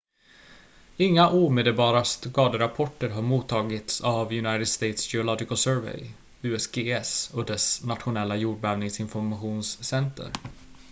inga omedelbara skaderapporter har mottagits av united states geological survey usgs och dess nationella jordbävningsinformationscenter